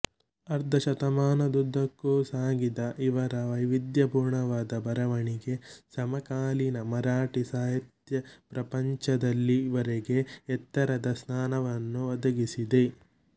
ಅರ್ಧಶತಮಾನದುದ್ದಕ್ಕೂ ಸಾಗಿದ ಇವರ ವೈವಿಧ್ಯಪೂರ್ಣವಾದ ಬರೆವಣಿಗೆ ಸಮಕಾಲೀನ ಮರಾಠೀ ಸಾಹಿತ್ಯಪ್ರಪಂಚದಲ್ಲಿವರಿಗೆ ಎತ್ತರದ ಸ್ಥಾನವನ್ನು ಒದಗಿಸಿದೆ